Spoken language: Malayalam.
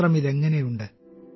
പാത്രമിതെങ്ങനുണ്ട്